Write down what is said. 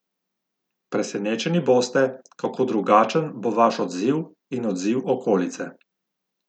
Presenečeni boste, kako drugačen bo vaš odziv in odziv okolice.